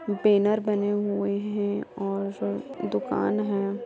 Banner बने हुए हैं और दुकान हैं।